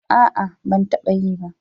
A'a, ban taba yi ba.